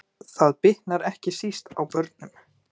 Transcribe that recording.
Það bitnar ekki síst á börnum